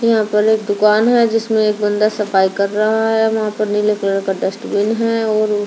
यहाँ पर एक दुकान है जिसमे एक बंदा सफाई कर रहा है और वह पे नीले कलर का डस्टबिन है और एक।